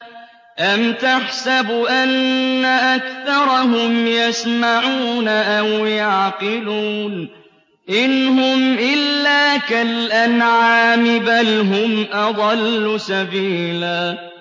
أَمْ تَحْسَبُ أَنَّ أَكْثَرَهُمْ يَسْمَعُونَ أَوْ يَعْقِلُونَ ۚ إِنْ هُمْ إِلَّا كَالْأَنْعَامِ ۖ بَلْ هُمْ أَضَلُّ سَبِيلًا